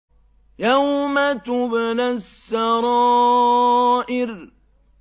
يَوْمَ تُبْلَى السَّرَائِرُ